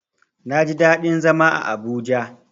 Naji daɗin zama a Abuja.